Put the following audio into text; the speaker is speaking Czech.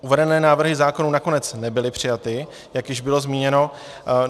Uvedené návrhy zákonů nakonec nebyly přijaty, jak již bylo zmíněno.